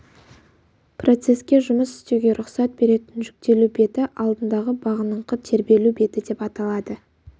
процеске жұмыс істеуге рұқсат беретін жүктелу беті алдындағы бағыныңқы тербелу беті деп аталады